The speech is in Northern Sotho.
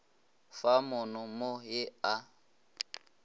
fa mono mo ye a